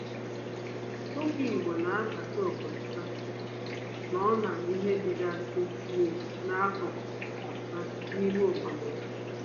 Ọkụkọ igbo na anabata obodo ha nọ na ihe dịgasị n'akụkụ ha n'ime obodo ha.